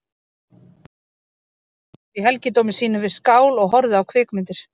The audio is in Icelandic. Daginn langan sat hann svo í helgidómi sínum við skál og horfði á kvikmyndir.